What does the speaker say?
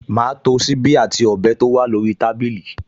Màá to ṣíbí àti ọ̀bẹ tó wà lórí tábìlì